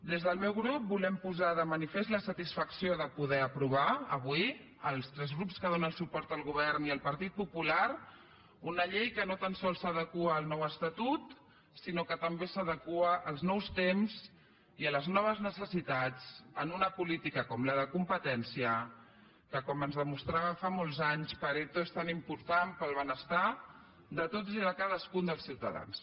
des del meu grup volem posar de manifest la satisfacció de poder aprovar avui els tres grups que donen suport al govern i el partit popular una llei que no tan sols s’adequa al nou estatut sinó que també s’adequa als nous temps i a les noves necessitats en una política com la de la competència que com ens demostrava fa molts anys pareto és tan important per al benestar de tots i de cadascun dels ciutadans